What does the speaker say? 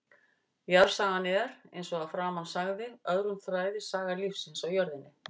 Jarðsagan er, eins og að framan sagði, öðrum þræði saga lífsins á jörðinni.